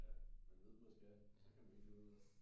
Ja man ved man skal og så kan man ikke finde ud af det